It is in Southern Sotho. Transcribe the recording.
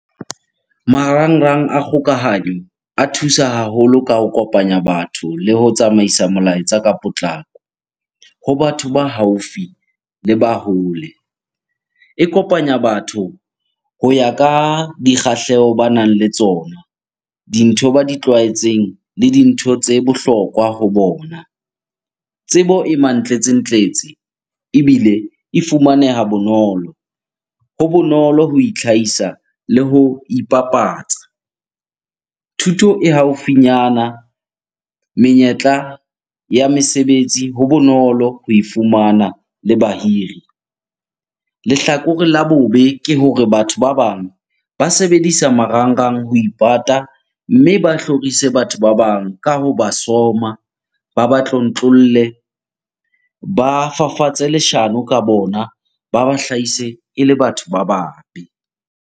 Marangrang a kgokahanyo a thusa haholo ka ho kopanya batho le ho tsamaisa molaetsa ka potlako ho batho ba haufi le ba hole. E kopanya batho ho ya ka dikgahleho banang le tsona, dintho ba di tlwaetseng le dintho tse bohlokwa ho bona. Tsebo e mantlentsentletse ebile e fumaneha bonolo. Ho bonolo ho itlhahisa le ho ipapatsa. Thuto e haufinyana, menyetla ya mesebetsi ho bonolo ho e fumana le bahiri. Lehlakore la bobe ke hore batho ba bang ba sebedisa marangrang ho ipata, mme ba hlorise batho ba bang ka ho ba soma, ba ba tlontlolle, ba fafatse leshano ka bona, ba ba hlahise ele batho ba babe.